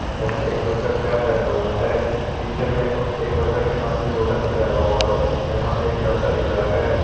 यहां एक बच्चा कैप पहना हुआ है पीछे में एक बच्चा के हाथ में लोटा दिख रहा है और यहां पे एक डंडा दिख रहा है।